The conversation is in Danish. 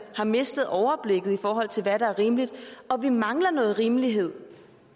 har mistet overblikket i forhold til hvad der er rimeligt og vi mangler noget rimelighed